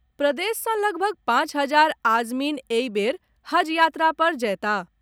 प्रदेश सॅ लगभग पांच हजार आजमीन एहि बेर हज यात्रा पर जएताह।